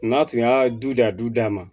N'a tun y'a du da a du dama